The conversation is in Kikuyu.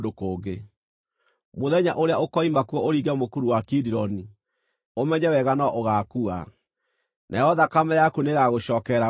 Mũthenya ũrĩa ũkoima kuo ũringe Mũkuru wa Kidironi, ũmenye wega no ũgaakua; nayo thakame yaku nĩĩgagũcookerera wee mwene.”